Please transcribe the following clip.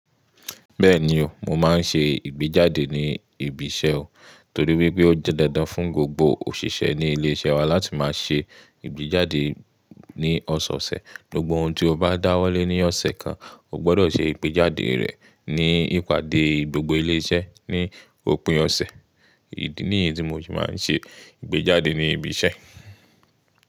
Bẹ́ẹ̀ni o, mo máa ń ṣe ìgbéjáde ní ibi iṣẹ́ o torí wípé ó jẹ́ dandan fún gbogbo òṣìṣẹ́ ní ilé-iṣẹ́ wa láti máa ṣe ìgbéjáde ní ọ̀sẹ̀ ọ̀sẹ̀. Gbogbo ohun tí o bá dáwọ́lé ní ọ̀sẹ̀ kan, o gbọ́dọ̀ ṣe ìgbéjáde rẹ̀ ní ìpàdé gbogbo ilé iṣẹ́ ní òpin ọ̀sẹ̀. Idi nìyẹn to mo se máa ń ṣe ìgbéjáde ní ibi iṣẹ́.